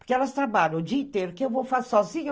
Porque elas trabalham o dia inteiro, o que eu vou fazer sozinha?